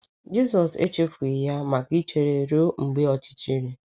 Jisọs echefughị ya maka ichere ruo mgbe ọchịchịrị.